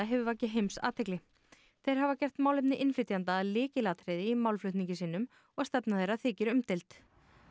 hefur vakið heimsathygli þeir hafa gert málefni innflytjenda að lykilatriði í málflutningi sínum og stefna þeirra þykir umdeild